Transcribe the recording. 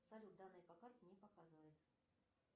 салют данные по карте не показывает